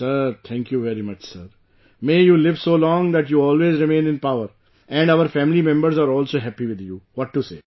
Sir, thank you very much sir, may you live so long that you always remain in power and our family members are also happy with you, what to say